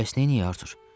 Bəs nə edək Artur?